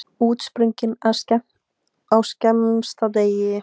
Útsprungin á skemmsta degi.